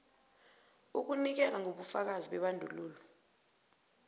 ukunikela ngobufakazi bebandulo